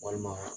Walima